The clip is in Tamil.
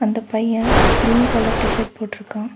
இந்த பைய கிரீன் கலர் டி_ஷர்ட் போட்ருக்கா.